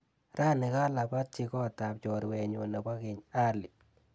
Rani kalabatchi kotap chorwenyu nebo keny Ali.